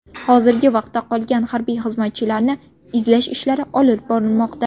Hozirgi vaqtda qolgan harbiy xizmatchilarni izlash ishlari olib borilmoqda.